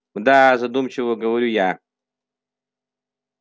мда задумчиво говорю я